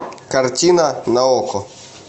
картина на окко